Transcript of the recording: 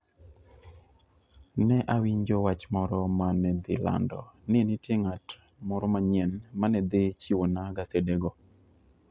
Ne awinjo wach moro ma ne dhi lando ni nitie ng'at moro manyien ma ne dhi chiwonwa gasedego.